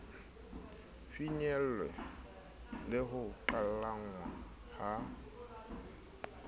finyellwe le ho qhalanngwa ha